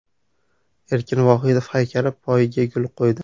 Erkin Vohidov haykali poyiga gul qo‘ydi.